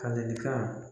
Ka lekan